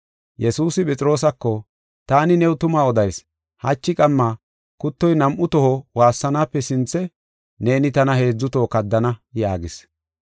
Yesuusi Phexroosako, “Taani new tuma odayis; hachi qamma kuttoy nam7u toho waassanaape sinthe neeni tana heedzu toho kaddana” yaagis.